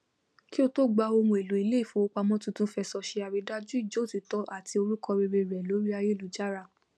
kí otó gba ohunèlò iléìfowópamọ tuntun fẹsọ se àridájú ìjótìítọ àti orúkọ rere rẹ lórí ayélujára